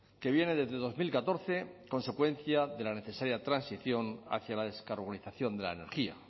que viene desde dos mil catorce consecuencia de la necesaria transición hacia la descarbonización de la energía